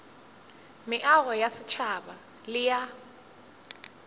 meago ya setšhaba le ya